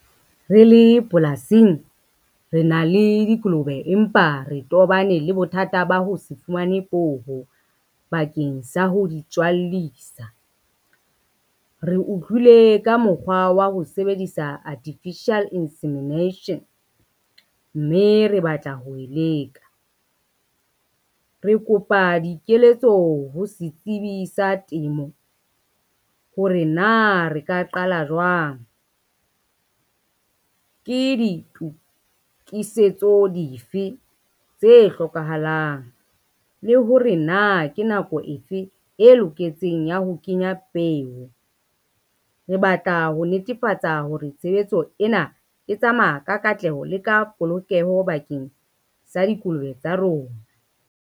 Re le polasing re na le dikolobe empa re tobane le bothata ba ho se fumane poho bakeng sa ho di tswallisa. Re utlwile ka mokgwa wa ho sebedisa artificial insemination, mme re batla ho e leka. Re kopa dikeletso ho setsibi sa temo, hore na re ka qala jwang, ke ditokisetso dife tse hlokahalang le hore na ke nako efe e loketseng ya ho kenya peo. Re batla ho netefatsa hore tshebetso ena e tsamaya ka katleho le ka polokeho bakeng sa dikolobe tsa rona.